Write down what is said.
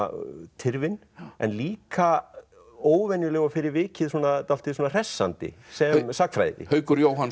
tyrfin en líka óvenjuleg og fyrir vikið dálítið hressandi sem sagnfræði Haukur Jóhannsson